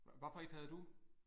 Hvad for et havde du?